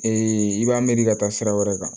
i b'a miiri ka taa sira wɛrɛ kan